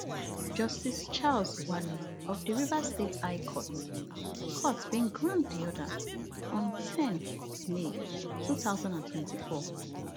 justice charles wali of di rivers state high court court bin grant di order on ten may two thousand and twenty-four